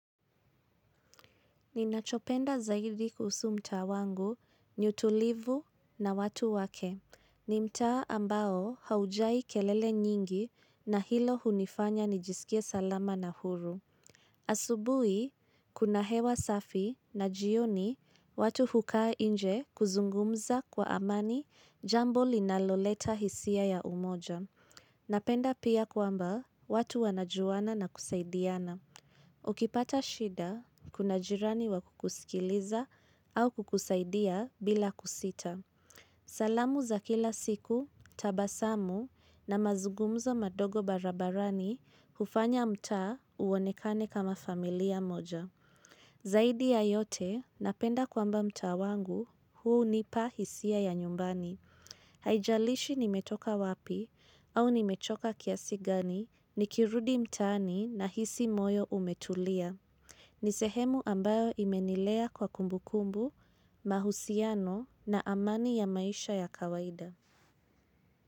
Ninachopenda zaidi kuhusu mtaa wangu, ni utulivu na watu wake. Ni mtaa ambao haujai kelele nyingi na hilo hunifanya nijisikie salama na huru. Asubuhi, kuna hewa safi na jioni watu hukaa nje kuzungumza kwa amani jambo linaloleta hisia ya umoja. Napenda pia kwamba watu wanajuana na kusaidiana. Ukipata shida, kuna jirani wa kukusikiliza au kukusaidia bila kusita. Salamu za kila siku, tabasamu na mazugumzo madogo barabarani hufanya mtaa uonekane kama familia moja. Zaidi ya yote, napenda kwamba mtaa wangu hunipa hisia ya nyumbani. Haijalishi nimetoka wapi au nimechoka kiasi gani nikirudi mtaani nahisi moyo umetulia. Nisehemu ambayo imenilea kwa kumbu kumbu, mahusiano na amani ya maisha ya kawaida.